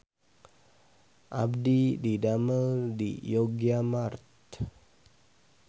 Abdi didamel di Yogyamart